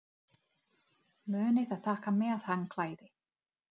Munið að taka með handklæði!